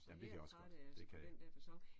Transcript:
Ja men det kan jeg også godt det kan jeg